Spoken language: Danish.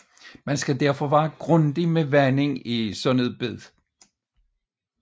Man skal derfor være grundig med vanding i et sådant bed